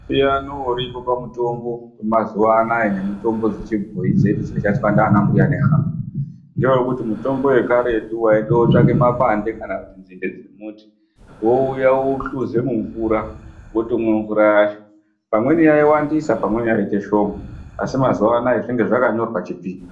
Musiyano uripo pamutombo wemazuva anaya nemitombo dzechibhoyi dzedu dzaishandiswa ndiana mbuya nehanda ngewekuti mutombo wekaretu waitotsvake makwande kana kuti nzinde dzemuti wouye wouhluze mumvura wotomwe mvura yacho pamweni yaiwandisa pamweni yaiita shoma asi mazuva anaya zvinenge zvakanyorwa chipimo